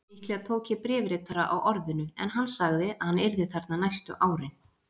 Líklega tók ég bréfritara á orðinu, en hann sagði að hann yrði þarna næstu árin.